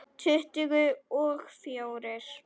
Tuttugu og fjórir!